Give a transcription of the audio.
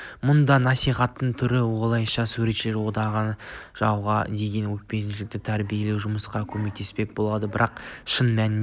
мұнысы насихатының түрі осылайша суретшілер одағы жауға деген өшпенділікті тәрбиелеу жұмысына көмектеспек болады бірақ шын мәнінде